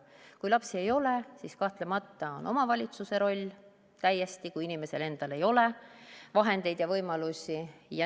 Kui lapsi ei ole, siis kahtlemata on omavalitsusel roll, kui inimesel endal ei ole vahendeid ja võimalusi.